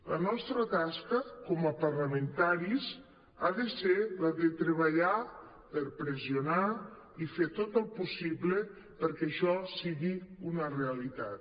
la nostra tasca com a parlamentaris ha de ser la de treballar per pressionar i fer tot el possible perquè això sigui una realitat